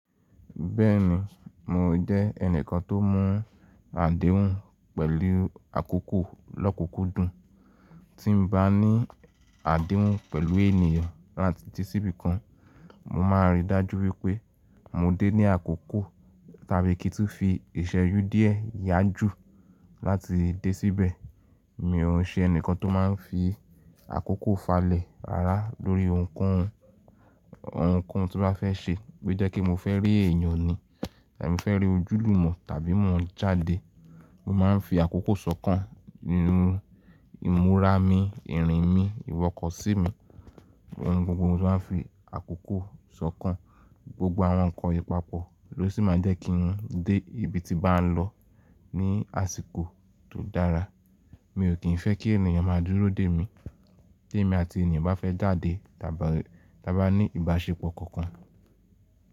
Bẹ́ẹ̀ni, mo jẹ́ ẹnìkan tó mú àdéhùn pẹ̀lú àkókò lókukudun. Tí n bá ní àdéhùn pẹ̀lú ènìyàn láti dé síbi kan, mo máa ríi dájú wípé mo dé ní àkókò tàbí kí n tó fi ìsẹ́ju díẹ̀ yájù láti dé síbẹ̀. Mi ò ṣe ẹnìkan tó máa ń fi àkókò falẹ̀ rárá lórí ohunkóhun. Ohunkóhun tí bá fẹ́ ṣe, bo jẹ́ kí mo fẹ́ rí èèyàn ni tàbí mo fẹ́ rí ojúlùmọ̀ tàbí mo ń jáde, mo máa ń fi àkókò sọ́kàn ninu ìmúra mi, irin mi, ìwọkọ̀ sí mi ohun gbogbo tí wọ́n á fi àkókò sọ́kàn, gbogbo àwọn nǹkan yii papọ̀ ló sì máa jẹ́ kí n dé ibi tí bá n lọ ní àsìkò tó dára. Mi ò kín fẹ́ kí ènìyàn máa dúró dè mí, tí èmi àti ènìyàn bá fẹ́ jáde tàbí--- ti aba ní ìbáṣepọ̀ kankan.